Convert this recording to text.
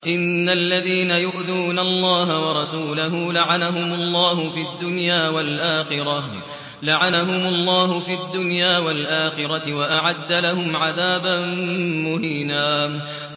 إِنَّ الَّذِينَ يُؤْذُونَ اللَّهَ وَرَسُولَهُ لَعَنَهُمُ اللَّهُ فِي الدُّنْيَا وَالْآخِرَةِ وَأَعَدَّ لَهُمْ عَذَابًا مُّهِينًا